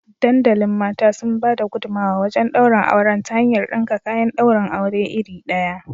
Dandalin mata sun bada gudumawa wajen daurin auren ta hanyar dinka kayan daurin aure iri ɗaya